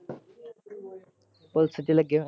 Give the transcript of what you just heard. police ਚ ਲਗੇ ਹੋਏ ਨੇ।